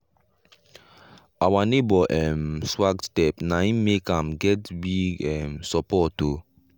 our neighbour um swag step na im make am get big um support o.